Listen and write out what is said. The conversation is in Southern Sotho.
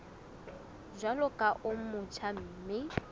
jwalo ka o motjha mme